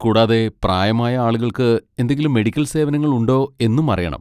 കൂടാതെ, പ്രായമായ ആളുകൾക്ക് എന്തെങ്കിലും മെഡിക്കൽ സേവനങ്ങൾ ഉണ്ടോ എന്നും അറിയണം.